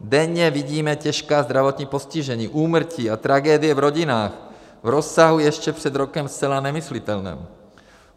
Denně vidíme těžká zdravotní postižení, úmrtí a tragédie v rodinách, v rozsahu ještě před rokem zcela nemyslitelném.